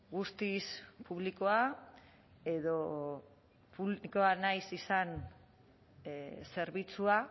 guztiz publikoa edo publikoa nahi izan zerbitzua